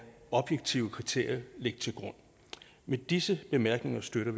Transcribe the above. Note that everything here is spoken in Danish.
objektive kriterier ligge til grund med disse bemærkninger støtter